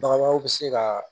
Baganw bɛ se ka